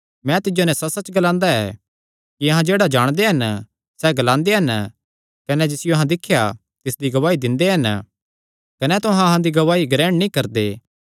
मैं तिज्जो नैं सच्चसच्च ग्लांदा ऐ कि अहां जेह्ड़ा जाणदे हन सैह़ ग्लांदे हन कने जिसियो अहां दिख्या तिसदी गवाही दिंदे हन कने तुहां अहां दी गवाही ग्रहण नीं करदे